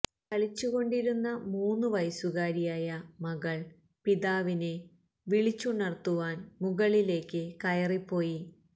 കളിച്ചു കൊണ്ടിരുന്ന മൂന്നു വയസുകാരിയായ മകള് പിതാവിനെ വിളിച്ചുണര്ത്തുവാന് മുകളിലേക്ക് കയറിപ്പോയി